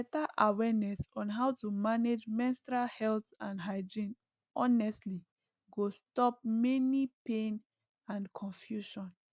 better awareness on how to manage menstrual health and hygiene honestly go stop many pain and confusion